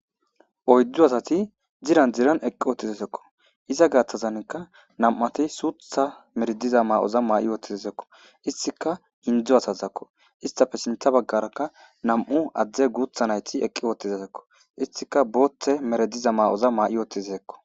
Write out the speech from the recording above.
oyddu asati diran diran eqqi ootizesekko iza gaathtazanka nam7ati suutha merediza maa7oza maa7i oottizasekko istika indzu asazakko istafe sintha baggarakka nam7u adzde guutha nayti eqqi ootizesekko istika boothe merediza maa7oza maa7i oottizasekko